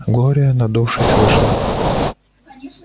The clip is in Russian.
глория надувшись вышла